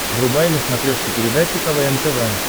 врубай на смотрешке передачу квн тв